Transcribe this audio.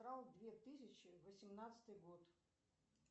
две тысячи восемнадцатый год